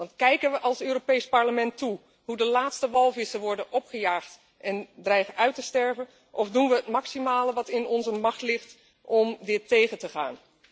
Want kijken we als Europees Parlement toe hoe de laatste walvissen worden opgejaagd en dreigen uit te sterven, of doen we het maximale wat in onze macht ligt om dit tegen te gaan?